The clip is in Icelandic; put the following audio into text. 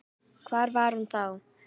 Hvar var hún þá?